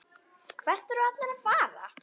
Hvert eru allir að fara?